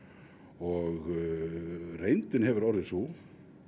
og reyndin hefur orðið sú